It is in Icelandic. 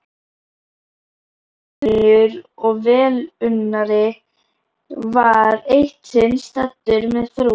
Góður vinur og velunnari var eitt sinn staddur með frú